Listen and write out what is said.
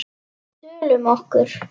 Tölum um okkur.